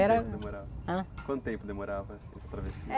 Era. Quanto demorava?. Ãh? Quanto tempo demorava essa travessia?